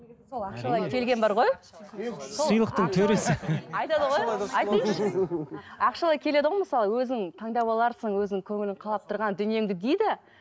ақшалай келеді ғой мысалы өзің таңдап аларсың өзің көңілің қалап тұрған дүниеңді дейді